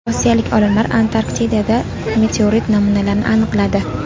Rossiyalik olimlar Antarktidada meteorit namunalarini aniqladi.